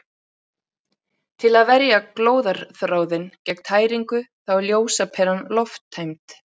Til að verja glóðarþráðinn gegn tæringu þá er ljósaperan lofttæmd.